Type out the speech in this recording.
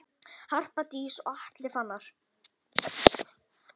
Harpa Dís og Atli Fannar.